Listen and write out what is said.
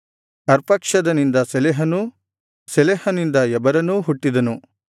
ಅರ್ಪಕ್ಷದನಿಂದ ಶೆಲಹನೂ ಶೆಲಹನಿಂದ ಎಬರನೂ ಹುಟ್ಟಿದನು